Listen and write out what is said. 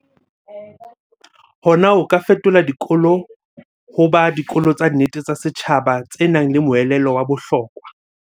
Hona ho ka fetola dikolo ho ba "dikolo tsa nnete tsa setjhaba" tse nang le moelelo wa bohlokwa.